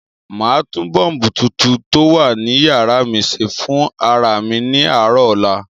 Màá tún bọ́ọ̀bù tuntun tó wà ní yàrá mi se fún ara mi ní àárọ̀ ọ̀la.